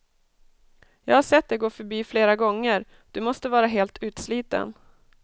Jag har sett dig gå förbi flera gånger, du måste vara helt utsliten.